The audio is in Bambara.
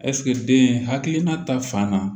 ɛsike den hakilina ta fan na